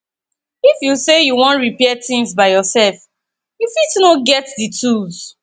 if you sey you wan repair things by yourself you fit no get di tools